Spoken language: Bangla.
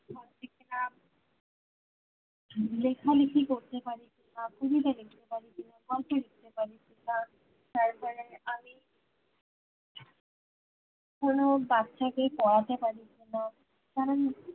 লেখালিখি করতে পারি কিনা কবিতা লিখতে পারি কিনা গল্প লিখতে পারি কিনা তারপরে আমি কোনো বাচ্চা কে পড়াতে পারি কিনা কারন